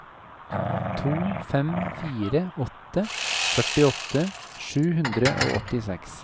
to fem fire åtte førtiåtte sju hundre og åttiseks